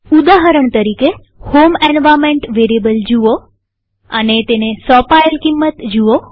ઉદાહરણ તરીકેહોમ environment variable જુઓ અને તેને સોંપાયેલ કિંમત જુઓ